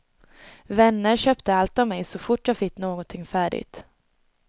Vänner köpte allt av mig så fort jag fick någonting färdigt.